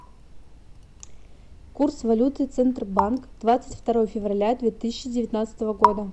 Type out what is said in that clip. курс валюты центробанк двадцать второе февраля две тысячи девятнадцатого года